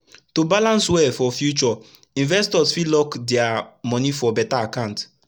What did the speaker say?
to balance well for future investors fit lock dia moni for beta akant